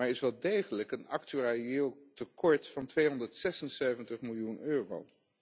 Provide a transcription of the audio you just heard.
Maar er is wel degelijk een actuarieel tekort van 276 miljoen euro.